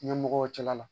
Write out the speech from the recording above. Ɲɛmɔgɔw cɛla la